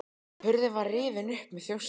Hurðin var rifin upp með þjósti.